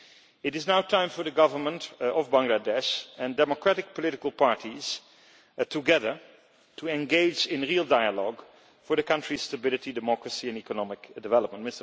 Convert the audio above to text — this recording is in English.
It is now time for the Government of Bangladesh and democratic political parties together to engage in real dialogue for the country's stability, democracy and economic development.